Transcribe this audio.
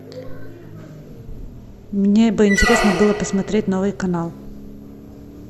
мне бы интересно было посмотреть новый канал